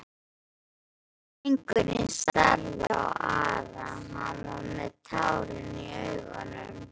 Drengurinn starði á Ara, hann var með tárin í augunum.